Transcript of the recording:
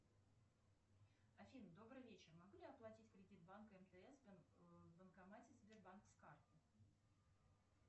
афина добрый вечер могу ли я оплатить кредит банка мтс в банкомате сбербанка с карты